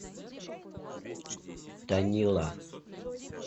танила